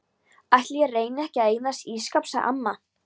Ætli ég reyni ekki að eignast ísskáp sagði amma.